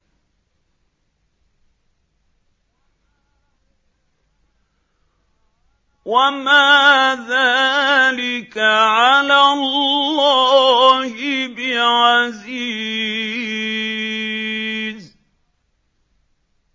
وَمَا ذَٰلِكَ عَلَى اللَّهِ بِعَزِيزٍ